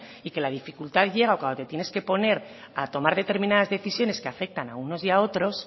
y que la dificultad llega cuando te tienes que poner a tomar determinadas decisiones que afectan a unos y a otros